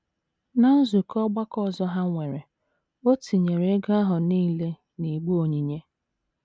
Ná nzukọ ọgbakọ ọzọ ha nwere, o tinyere ego ahụ nile n’igbe onyinye.